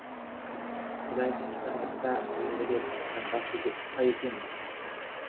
құдай тыныштандырса енді де тыныштанбас па екенбіз